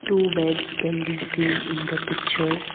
two beds can be seen in the picture.